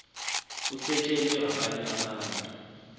usetshwe okanye kusetshwe